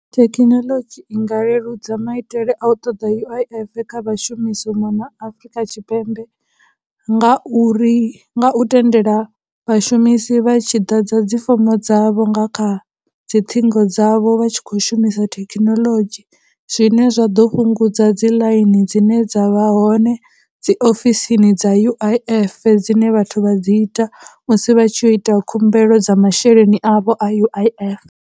Thekhinoḽodzhi i nga leludza maitele a u ṱoḓa U_I_F kha vhashumisi u mona Afurika Tshipembe ngauri, nga u tendela vhashumisi vha tshi ḓadza dzi fomo dzavho nga kha dzi ṱhingo dzavho vha tshi khou shumisa thekhinoḽodzhi zwine zwa ḓo fhungudza dzi line dzine dza vha hoṋe dzi ofisini dza U_I_F dzine vhathu vha dzi ita musi vha tshi ya u ita khumbelo dza masheleni avho a U_I_F.